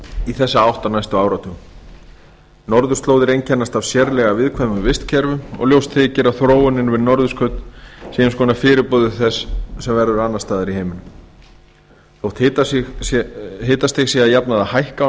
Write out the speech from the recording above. í þessa átt á næstu áratugum norðurslóðir einkennast af sérlega viðkvæmum vistkerfum og ljóst þykir að þróunin við norðurskaut sé eins konar fyrirboði þess sem verður annars staðar í heiminum þótt hitastig sé að jafnaði að hækka á